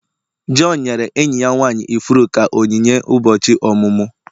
John nyere enyi ya nwanyị ifuru ka onyinye ụbọchị ọmụmụ.